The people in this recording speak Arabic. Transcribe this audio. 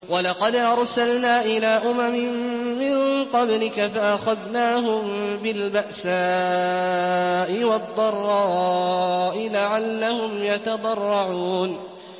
وَلَقَدْ أَرْسَلْنَا إِلَىٰ أُمَمٍ مِّن قَبْلِكَ فَأَخَذْنَاهُم بِالْبَأْسَاءِ وَالضَّرَّاءِ لَعَلَّهُمْ يَتَضَرَّعُونَ